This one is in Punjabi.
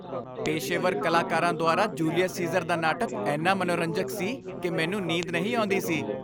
ਪੇਸ਼ੇਵਰ ਕਲਾਕਾਰਾਂ ਦੁਆਰਾ ਜੂਲੀਅਸ ਸੀਜ਼ਰ ਦਾ ਨਾਟਕ ਇੰਨਾ ਮਨੋਰੰਜਕ ਸੀ ਕਿ ਮੈਨੂੰ ਨੀਂਦ ਨਹੀਂ ਆਉਂਦੀ ਸੀ।